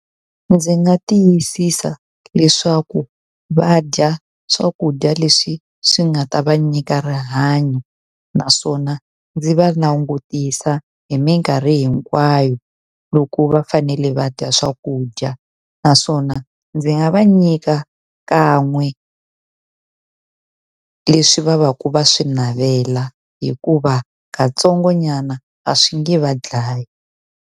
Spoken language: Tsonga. Ndzi nga tiyisisa leswaku va dya swakudya leswi swi nga ta va nyika rihanyo, naswona ndzi va langutisa hi minkarhi hinkwayo loko va fanele va dya swakudya. Naswona ndzi nga va nyika kan'we leswi va va ka va swi navela hikuva katsongonyana a swi nge va dlayi.